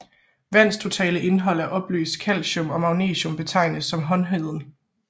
Vands totale indhold af opløst calcium og magnesium betegnes som hårdheden